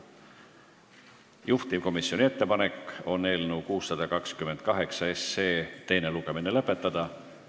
Juhtivkomisjoni ettepanek on eelnõu 628 teine lugemine lõpetada.